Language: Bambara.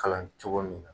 Kalan cogo min na